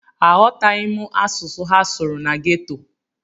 Aghọtaghị m asụsụ ha sụrụ na geto.